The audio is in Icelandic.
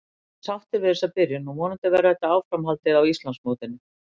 Ég er sáttur við þessa byrjun og vonandi verður þetta áframhaldandi á Íslandsmótinu.